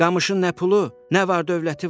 Qamışın nə pulu, nə var dövləti var.